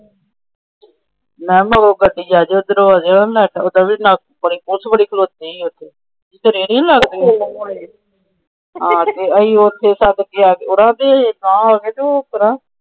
Police ਬੜੀ ਖਲੋਤੀ ਸੀ।